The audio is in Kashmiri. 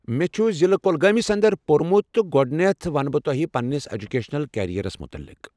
مےٚچھُ ضلع کۄگٲۍمِس انٛدرپورمُت تہٕ گۄڈنیتھ ونہٕ بہٕ تۄہہ پننِس ایٚجکیشنل کیریرس متعلِق ۔